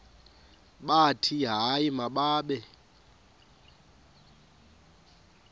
bathi hayi mababe